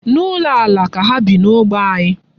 N'ụlọ ala ka ha bi n'ógbè anyị.